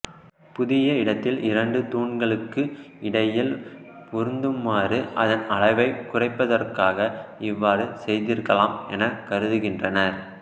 புதிய இடத்தில் இரண்டு தூண்களுக்கு இடையில் பொருந்துமாறு அதன் அளவைக் குறைப்பதற்காக இவ்வாறு செய்திருக்கலாம் எனக் கருதுகின்றனர்